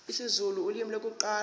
isizulu ulimi lokuqala